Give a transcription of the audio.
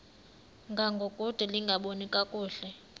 ngangokude lingaboni kakuhle